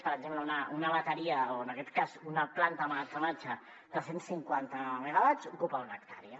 per exemple una bateria o en aquest cas una planta d’emmagatzematge de cent cinquanta megawatts ocupa una hectàrea